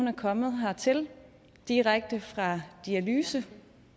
er kommet hertil direkte fra dialyse